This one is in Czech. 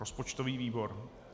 Rozpočtový výbor.